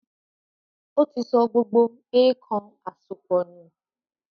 Ó ti sọ gbogbo “èèkàn àsopọ̀” nù.